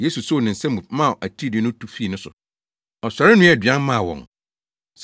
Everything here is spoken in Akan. Yesu soo ne nsa mu maa atiridii no tu fii no so. Ɔsɔre noaa aduan maa wɔn.